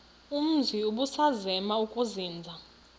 umzi ubusazema ukuzinza